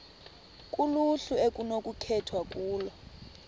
kuluhlu okunokukhethwa kulo